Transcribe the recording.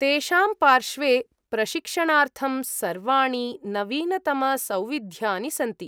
तेषां पार्श्वे प्रशिक्षणार्थं सर्वाणि नवीनतमसौविध्यानि सन्ति।